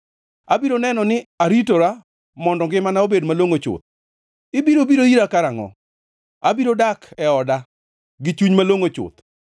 Abiro neno ni aritora mondo ngimana obed malongʼo chuth, ibiro biro ira karangʼo? Abiro dak e oda gi chuny malongʼo chuth.